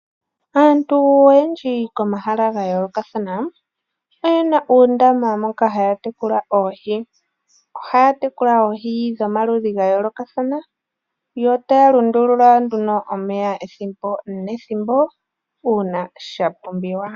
Aantu oyendji komahala ga yoolokathana oyena uundama moka haya tekula oohi, ohaya tekula oohi dhoma ludhi ga yolokathana yo taya lundulula omeya ethimbo nethimbo uuna sha pumbiwa.